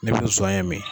Ne bɛ zonɲɛ min